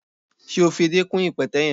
Se o fi èdé kún ipẹtẹ yẹn?